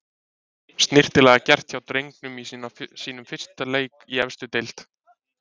Snyrtilega gert hjá drengnum í sínum fyrsta leik í efstu deild.